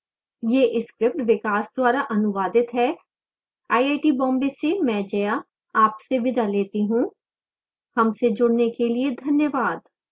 यह script विकास द्वारा अनुवादित है मैं जया अब आपसे विदा लेती हूँ